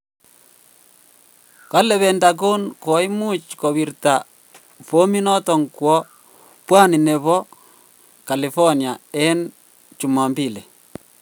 Kole pentagon koimuch kowita bominoton kwo pwani nepo carlifornia en jumombili.